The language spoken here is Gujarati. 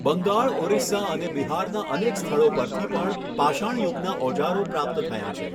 બંગાળ ઓરિસ્સા અને બિહારના અનેક સ્થળો પરથી પણ પાષાણયુગનાં ઓજારો પ્રાપ્ત થયાં છે.